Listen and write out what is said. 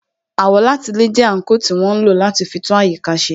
Àwọ̀látilẹ̀ jẹ́ àńkò tí wọ́n ń lò láti fi tún àyíká ṣe